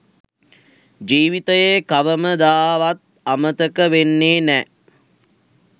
ජිවිතයේ කවමදාවත් අමතක වෙන්නේ නැ